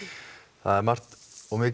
það er margt og mikið